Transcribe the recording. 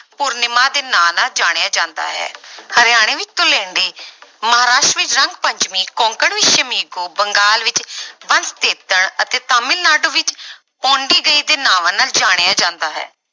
ਪੂਰਨਿਮਾ ਦੇ ਨਾਂ ਨਾਲ ਜਾਣਿਆ ਜਾਂਦਾ ਹੈ ਹਰਿਆਣੇ ਵਿੱਚ ਧੂਲੇਂਡੀ ਮਹਾਰਾਸ਼ਟਰ ਵਿੱਚ ਰੰਗ ਪੰਚਮੀ, ਕੋਂਕਣ ਵਿੱਚ ਸ਼ਮੀਗੋ, ਬੰਗਾਲ ਵਿੱਚ ਬੰਸਤੇਤਣ ਅਤੇ ਤਾਮਿਲਨਾਡੂ ਵਿੱਚ ਪੋਂਡੀਗਈ ਦੇ ਨਾਵਾਂ ਨਾਲ ਜਾਣਿਆਂ ਜਾਂਦਾ ਹੈ।